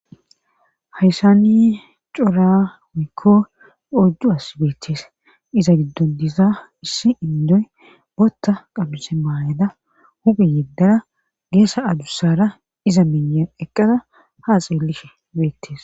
hayssani cora woyikko oyddu asi beettees iza giddo diza issi indoy botta qamise maayada hupe yeddara geessa adussara iza minyan eqqada haa xeellishe beettees